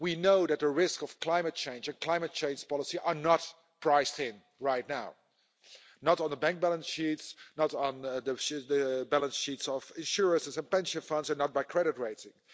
We know that the risk of climate change and climate change policy are not priced in right now, not on the bank balance sheets, not on the balance sheets of insurances and pension funds and not by credit rating.